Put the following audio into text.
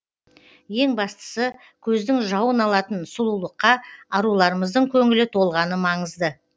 ең бастысы көздің жауын алатын сұлулыққа аруларымыздың көңілі толғаны маңызды